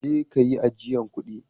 Je'ka yi ajian kudin.